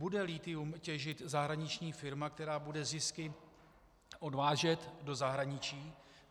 Bude lithium těžit zahraniční firma, která bude zisky odvážet do zahraničí?